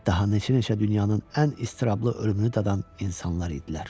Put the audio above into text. Daha neçə-neçə dünyanın ən istirablı ölümünü dadan insanlar idilər.